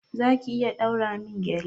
Za ki iya ɗaura min gƴale?